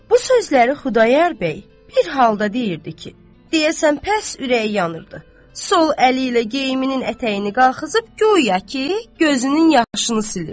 Bu sözləri Xudayar bəy bir halda deyirdi ki, deyəsən pəs ürəyi yanırdı, sol əli ilə geyiminin ətəyini qalxızıb, guya ki, gözünün yaşını silirdi.